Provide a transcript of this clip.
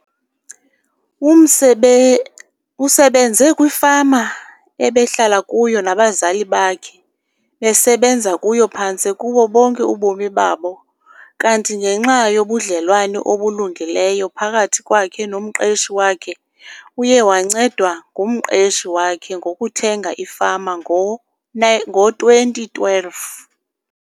Umsebe usebenze kwifama ebehlala kuyo nabazali bakhe besebenza kuyo phantse kubo bonke ubomi babo kanti ngenxa yobudlelwane obulungileyo phakathi kwakhe nomqeshi wakhe, uye wancedwa ngumqeshi wakhe ngokuthenga ifama ngo ngo-2012.